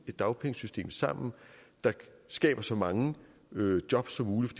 dagpengesystem sammen der skaber så mange jobs som muligt